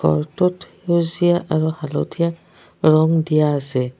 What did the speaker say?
ঘৰটোত সেউজীয়া আৰু হালধীয়া ৰং দিয়া আছে।